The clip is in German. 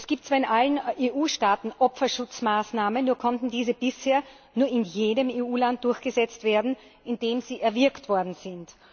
Es gibt zwar in allen EU Staaten Opferschutzmaßnahmen, nur konnten diese bisher nur in dem EU Land durchgesetzt werden, in dem sie erwirkt worden sind.